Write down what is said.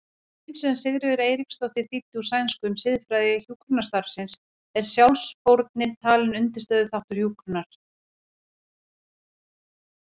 grein sem Sigríður Eiríksdóttir þýddi úr sænsku um siðfræði hjúkrunarstarfsins er sjálfsfórnin talin undirstöðuþáttur hjúkrunar.